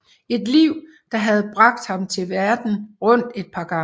Et liv der havde bragt ham verden rundt et par gange